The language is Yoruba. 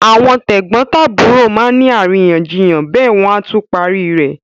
Àwọn tẹ̀gbọ́ntàbúrò má ni àríyànjiyàn bẹ́ẹ̀ wọ́n á tún parí ẹ̀.